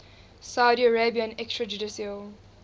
saudi arabian extrajudicial